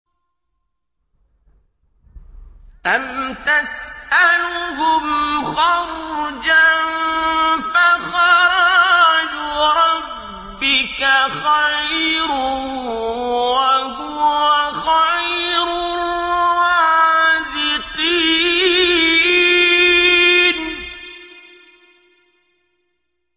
أَمْ تَسْأَلُهُمْ خَرْجًا فَخَرَاجُ رَبِّكَ خَيْرٌ ۖ وَهُوَ خَيْرُ الرَّازِقِينَ